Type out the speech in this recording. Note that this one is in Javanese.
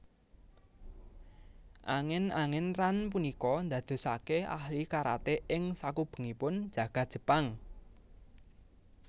Angén angén Ran punika ndadosake ahli karate ing sakubengipun jagad Jepang